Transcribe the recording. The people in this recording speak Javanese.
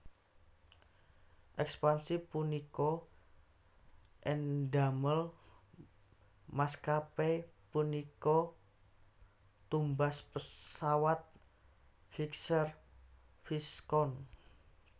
Ekspansi punika ndamel maskapé punika tumbas pesawat Vickers Viscount